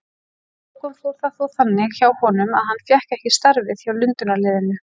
Að lokum fór það þó þannig hjá honum að hann fékk ekki starfið hjá Lundúnarliðinu.